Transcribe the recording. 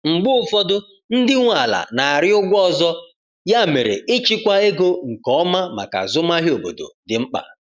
Mgbe ụfọdụ, ndị nwe ala na-arịọ ụgwọ ọzọ, ya mere ịchịkwa ego nke ọma maka azụmahịa obodo dị mkpa.